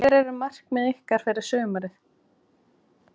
Hver eru markmið ykkar fyrir sumarið?